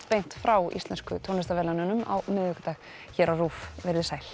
beint frá íslensku tónlistarverðlaununum á miðvikudag verið sæl